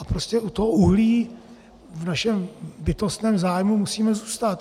A prostě u toho uhlí v našem bytostném zájmu musíme zůstat.